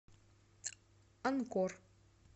анкор